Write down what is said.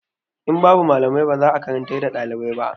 In babu malamai ba za a karantar da ɗalibai ba.